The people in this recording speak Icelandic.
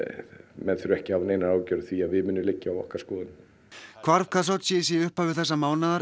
menn þurfa ekki að hafa neinar áhyggjur af því að við munum liggja á okkar skoðunum hvarf Khashoggis í upphafi þessa mánaðar